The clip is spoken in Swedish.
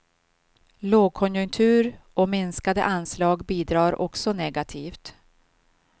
Lågkonjunktur och minskade anslag bidrar också negativt.